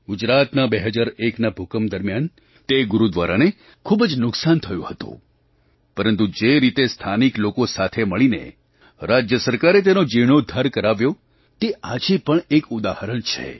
ગુજરાતના 2001ના ભૂકંપ દરમિયાન તે ગુરુદ્વારાને ખૂબ જ નુકસાન થયું હતું પરંતુ જે રીતે સ્થાનિક લોકો સાથે મળીને રાજ્ય સરકારે તેનો જીર્ણોદ્ધાર કરાવ્યો તે આજે પણ એક ઉદાહરણ છે